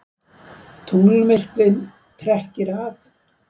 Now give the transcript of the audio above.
Tunglmyrkvinn trekkir að